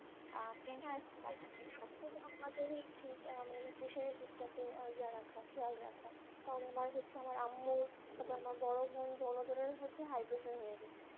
tension free রাখা উচিত মানে এই pressure রের দিকটাতে এ রাখা খেয়াল রাখা কারন আমার হচ্ছে আমার আম্মু তবে আমার বড় মন দুজনের হচ্ছে high pressure হয়ে গেছে